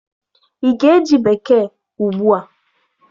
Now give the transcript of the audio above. Ị ga-eji Bekee ugbu a!